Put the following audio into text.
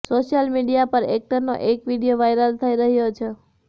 social media પર એક્ટરનો એક વીડિયો વાયરલ થઇ રહ્યો છે